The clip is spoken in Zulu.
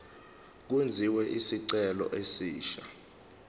kwenziwe isicelo esisha